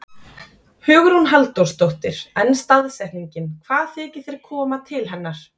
Hugrún Halldórsdóttir: En staðsetningin, hvað þykir þér koma til hennar?